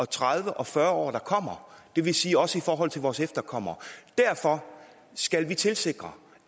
tredive og fyrre år der kommer det vil sige også i forhold til vores efterkommere derfor skal vi tilsikre